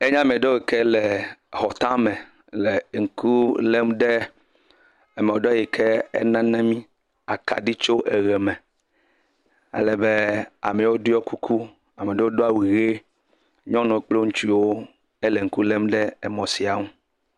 Enye amewo yi ke leee exɔ tame le ŋku lém ɖe emɔ ɖewo yi ke nana mí akaɖi tso eʋeme. Alebe ame ɖewo ɖiɔ kuku. Ame ɖewo do awu ʋee. Nyɔnuwo kple ŋtsuwo hele ŋku lém ɖe emɔ sia ŋu.